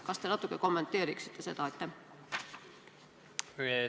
Kas te natuke kommenteeriksite seda?